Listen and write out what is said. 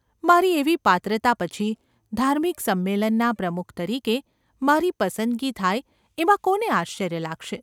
મારી એવી પાત્રતા પછી ધાર્મિક સંમેલનના પ્રમુખ તરીકે મારી પસંદગી થાય એમાં કોને આશ્ચર્ય લાગશે ?